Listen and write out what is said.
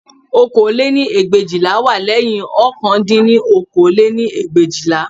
Okòó lé-ní ẹgbẹ̀éjìlá wá lẹ́yìn ọ̀kan dín ní okòó lé-ní ẹgbẹ̀éjìlá